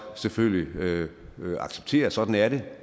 selvfølgelig acceptere at sådan er det